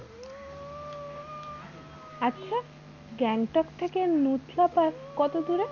আচ্ছা গ্যাংটক থেকে নুথলা পাস কত দূরে?